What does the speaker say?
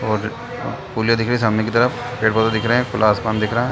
और पुलिया दिख रही हैं सामने की तरफ पेड़ - पौधे दिख रहे हैं खुला आसमान दिख रहा हैं।